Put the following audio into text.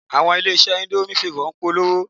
Àwọn ilé-iṣẹ́ indomie favor ń polówó